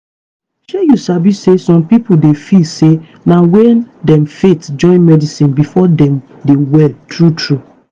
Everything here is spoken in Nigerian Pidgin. shey you sabi say some pipo dey feel say na wen dem faith join medicine before dem dey well true true.